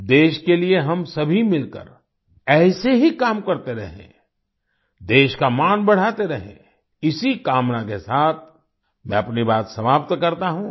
देश के लिए हम सभी मिलकर ऐसे ही काम करते रहें देश का मान बढ़ाते रहें इसी कामना के साथ मैं अपनी बात समाप्त करता हूँ